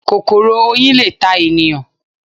Kòkòrò Oyin le ta ènìyàn